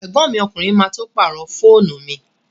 Ẹ̀gbọ́n mi ọkùnrin má tó pàrọ̀ fóònù mi